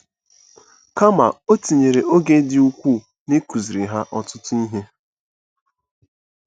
Kama, o tinyere oge dị ukwuu n'ịkụziri ha ọtụtụ ihe.